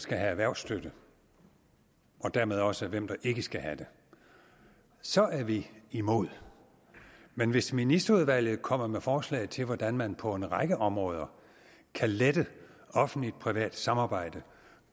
skal have erhvervsstøtte og dermed også til hvem der ikke skal have det så er vi imod men hvis ministerudvalget kommer med forslag til hvordan man på en række områder kan lette offentligt privat samarbejde